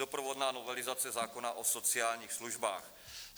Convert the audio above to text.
Doprovodná novelizace zákona o sociálních službách.